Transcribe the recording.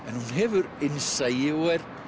hefur innsæi og er